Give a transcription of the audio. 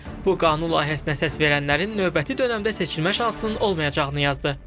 Bu qanun layihəsinə səs verənlərin növbəti dönəmdə seçilmə şansının olmayacağını yazdı.